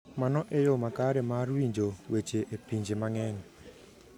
Mano e yo makare mar winjo weche e pinje mang’eny.